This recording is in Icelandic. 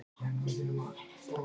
Kæri Póstur!